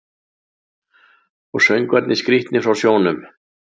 Og söngvarnir skrítnir frá sjónum.